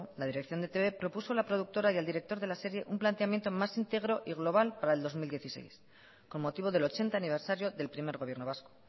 la dirección de e i te be propuso a la productora y al director de la serie un planteamiento más íntegro y global para el dos mil dieciséis con motivo del ochenta aniversario del primer gobierno vasco